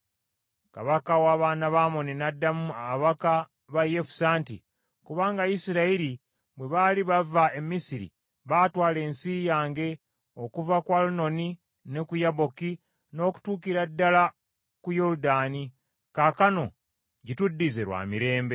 Kabaka w’abaana ba Amoni n’addamu ababaka ba Yefusa nti, “Kubanga Isirayiri bwe baali bava e Misiri baatwala ensi yange okuva ku Alunoni ne ku Yaboki n’okutuukira ddala ku Yoludaani. Kaakano gituddize lwa mirembe.”